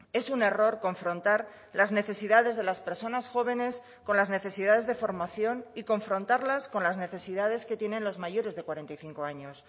es un error confrontar las necesidades de las personas jóvenes con las necesidades de formación y confrontarlas con las necesidades que tienen los mayores de cuarenta y cinco años